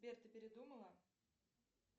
сбер ты передумала